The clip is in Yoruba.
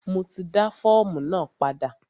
Mo ti dá fọ́ọ̀mù náà padà.